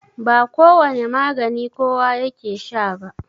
ba kowane magani kowa yake Sha ba